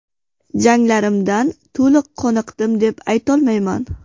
Janglarimdan to‘liq qoniqdim deb aytolmayman.